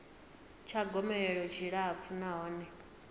tsha gomelelo tshi tshilapfu nahone